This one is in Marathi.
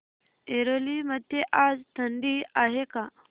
ऐरोली मध्ये आज थंडी आहे का